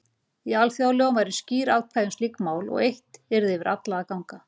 Í alþjóðalögum væru skýr ákvæði um slík mál og eitt yrði yfir alla að ganga.